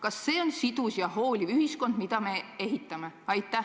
Kas see on sidus ja hooliv ühiskond, mida me ehitame?